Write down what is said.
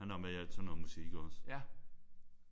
Han er jo med i alt sådan noget musik iggås?